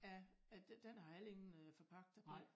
Ja den har heller ingen øh forpagter på